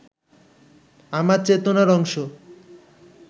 আমার চেতনার অংশ